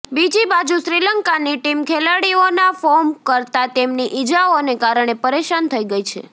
બીજી બાજુ શ્રીલંકાની ટીમ ખેલાડીઓના ફોર્મ કરતા તેમની ઇજાઓને કારણે પરેશાન થઇ ગઇ છે